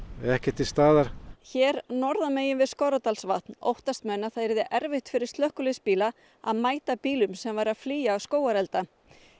ekki til staðar hér norðan megin við Skorradalsvatn óttast menn að það verði erfitt fyrir slökkviliðsbíla að mæta bílum sem eru að flýja skógarelda